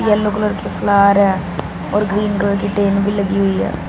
Yellow colour के flower है और ग्रीन कलर की ट्रेन भी लगी हुई है।